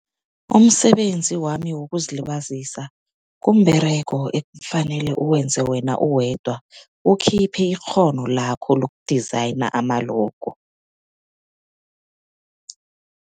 Umsebenzi wami wokuzilibazisa komberego ekufanele ukwenze wena uwedwa, ukhiphe ikghono lakho loku-designer ama-logo.